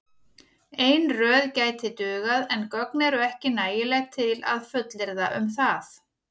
Ein röð gæti dugað en gögn eru ekki nægileg til að fullyrða um það.